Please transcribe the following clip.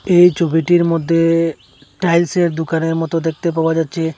এই ছবিটির মদ্যে টাইলসের দুকানের মতো দেখতে পাওয়া যাচ্ছে।